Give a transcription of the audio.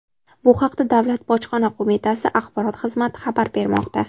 Bu haqda Davlat bojxona qo‘mitasi axborot xizmati xabar bermoqda.